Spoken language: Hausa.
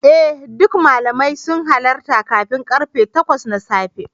Eh duk malamai sun hallara kafin karfe takwas na safe.